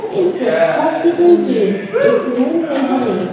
इस हॉस्पिटल के इस रूम में हमें--